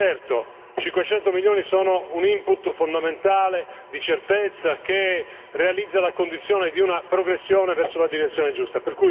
Certo, 500 milioni sono un input fondamentale di certezza che realizza la condizione di una progressione verso la direzione giusta.